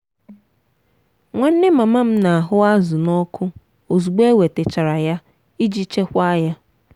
nwanne mama m na-ahu azụ n'ọku ozugbo e wetachara ya iji chekwaa ya.